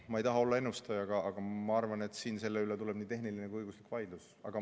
Ma ei taha olla ennustaja, aga ma arvan, et selle üle tuleb nii tehniline kui ka õiguslik vaidlus.